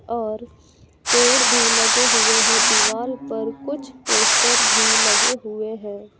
और पेड़ भी लगे हुए हैं दीवाल पर कुछ पोस्टर भी लगे हुए हैं।